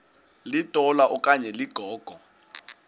litola okanye ligogo